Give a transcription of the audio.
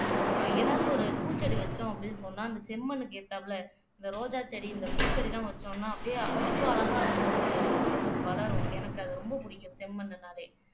எதாவது ஒரு பூச்செடி வச்சோம் அப்படின்னு சொன்னா அந்த செம்மண்ணுக்கு ஏத்தாப்புல இந்த ரோஜா செடி இந்த பூச்செடிலாம் வச்சோம்ன்னா அப்படியே அவ்வளவு அழகா வந்து வளரும் எனக்கு அது ரொம்ப பிடிக்கும் செம்மண்ணுனாலே